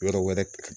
Yɔrɔ wɛrɛ